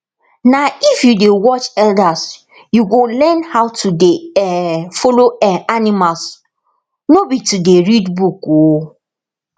na if you dey watch elders you go learn how to dey um follow um animals no be to dey read book o